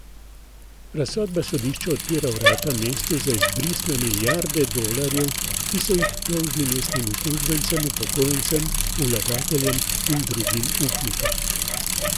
Razsodba sodišča odpira vrata mestu za izbris na milijarde dolarjev, ki so jih dolžni mestnim uslužbencem, upokojencem, vlagateljem in drugim upnikom.